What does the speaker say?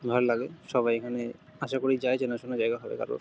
ভাল লাগে সবাই এখানে আশা করেই যায় চেনাশোনা জায়গা |